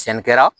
Sɛnɛ kɛra